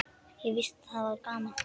Og víst var það gaman.